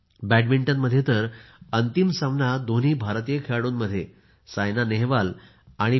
बॅडमिंटनमध्ये तर अंतिम सामना दोन्ही भारतीय खेळाडू सायना नेहवाल आणि पी